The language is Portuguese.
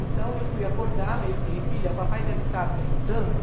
Então, eu fui acordá-la e eu falei, filha, o papai deve estar brincando.